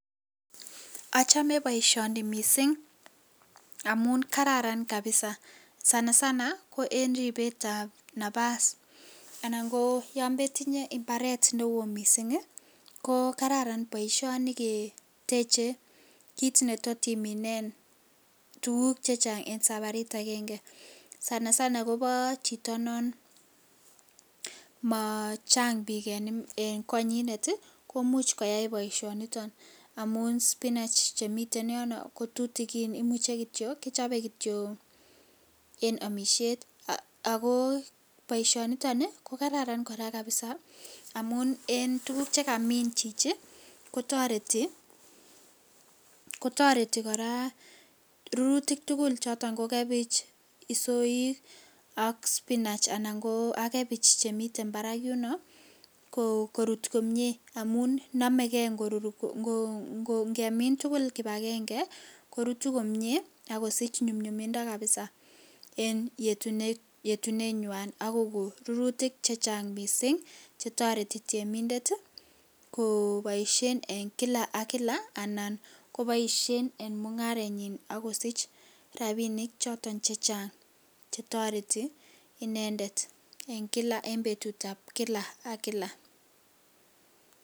Ochone boisioni misink amun kararan kabisa sana sana ko en ribetab nabas anan koyon metinye imbaret newo misink ii ko kararan boisioni keteche kit netot iminen tuguk chechang en sabarit agenge, sana sana kobo chito non machang bik en konyinet ii komuch koyai boisioniton amun spinach chemiten yono kotutukin imuche kityok kichope kityok eb omishet, ako boisioniton kokararan koraa kabisa amun en tuguk chekamin chichi kotoreti, kotoreti koraa rurutik tugul choton ko kebich ,isoik ak spinach anan koo ak kebich chemite barak yuno korut komie amun nomekee ingemin tugul kibagenge korutu komie ak kosich nyumnyumindo kabisa en yetunenywan akoi koik rurutik chechang misink chetoreti temindet koboisien en kila ak kila, anan koboisien en mungarenyin ak kosich rabinik choton chechang ak kotoreti inendet en kila en betutab kila ak kila.